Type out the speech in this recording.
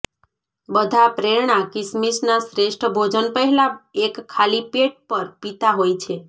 બધા પ્રેરણા કિસમિસ ના શ્રેષ્ઠ ભોજન પહેલાં એક ખાલી પેટ પર પીતા હોય છે